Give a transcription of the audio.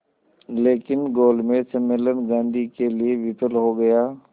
लेकिन गोलमेज सम्मेलन गांधी के लिए विफल हो गया